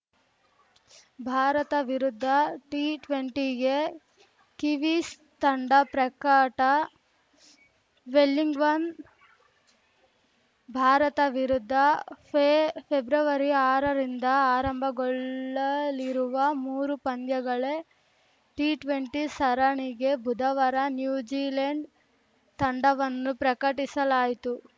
ಭಾರತ ವಿರುದ್ಧ ಟಿಟ್ವೆಂಟಿಗೆ ಕಿವೀಸ್‌ ತಂಡ ಪ್ರಕಟ ವೆಲ್ಲಿಂಗ್ವನ್‌ ಭಾರತ ವಿರುದ್ಧ ಫೆ ಫೆಬ್ರವರಿಆರರಿಂದ ಆರಂಭಗೊಳ್ಳಲಿರುವ ಮೂರು ಪಂದ್ಯಗಳೇ ಟಿಟ್ವೆಂಟಿ ಸರಣಿಗೆ ಬುಧವಾರ ನ್ಯೂಜಿಲೆಂಡ್‌ ತಂಡವನ್ನು ಪ್ರಕಟಿಸಲಾಯಿತು